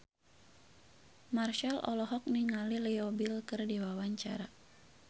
Marchell olohok ningali Leo Bill keur diwawancara